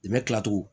I bɛ kila tuguni